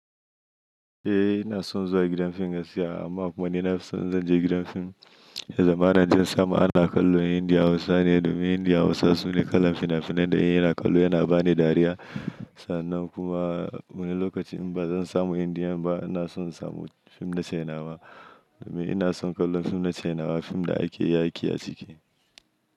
Eh ina son zuwa gidan fim gaskiya amma kuma ni nafi so in zan je gidan fim. Ya zamana inje in samu ana kallo Indiya Hausa ne domin Indiya Hausa su ne kalan fim na fi nan da in ina kallo yana bani dariya. Sannan kuma wani lokaci in ba zan samu Indiya ba ina son samu fim na Chinenawa domin ina son kallon fim na Chinenawa. Fim da ake yaƙi a ciki.